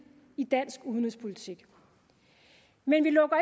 i dansk udenrigspolitik men vi lukker